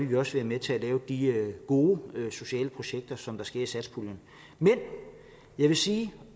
vi også være med til at lave de gode sociale projekter som der sker med satspuljen men jeg vil sige